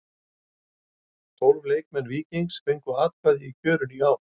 Tólf leikmenn Víkings fengu atkvæði í kjörinu í ár.